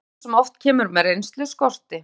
Stöðugleikann, sem oft kemur með reynslu, skorti.